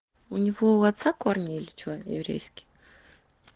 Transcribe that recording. у него у отца корни или что еврейские